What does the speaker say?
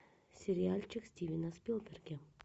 сериальчик стивена спилберга